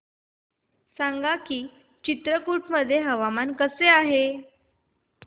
सांगा की चित्रकूट मध्ये हवामान कसे आहे